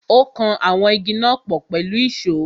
Ó kan àwọn Igi náà pọ̀ pẹ̀lú ìsó.